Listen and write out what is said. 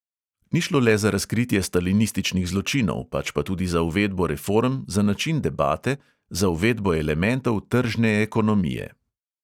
Ni šlo le za razkritje stalinističnih zločinov, pač pa tudi za uvedbo reform, za način debate, za uvedbo elementov tržne ekonomije.